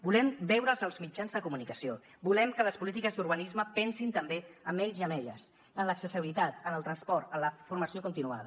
volem veure’ls als mitjans de comunicació volem que les polítiques d’urbanisme pensin també en ells i elles en l’accessibilitat en el transport en la formació continuada